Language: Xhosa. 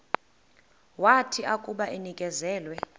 wathi akuba enikezelwe